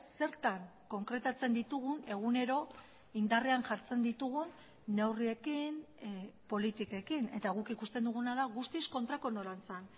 zertan konkretatzen ditugun egunero indarrean jartzen ditugun neurriekin politikekin eta guk ikusten duguna da guztiz kontrako norantzan